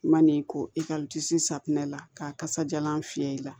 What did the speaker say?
Man'i ko i ka safinɛ la kasadiyalan fiyɛ i la